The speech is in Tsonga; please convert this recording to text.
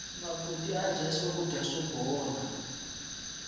makoti ya dya swakudya swo bola